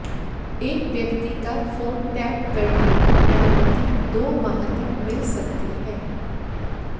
एक व्यक्ति का फोन टैप करने की अनुमति दो माह तक मिल सकती है